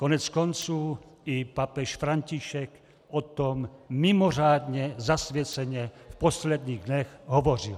Koneckonců, i papež František o tom mimořádně zasvěceně v posledních dnech hovořil.